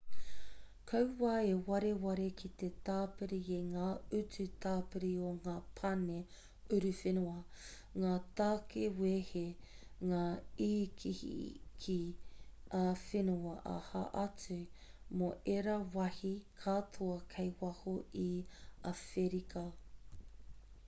kaua e wareware ki te tāpiri i ngā utu tāpiri o ngā pane uruwhenua ngā tāke wehe ngā ikiiki ā-whenua aha atu mō ērā wāhi katoa kei waho i āwherika